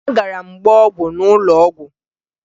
Agara m gbaa ọgwụ n'ụlọ ọgwụ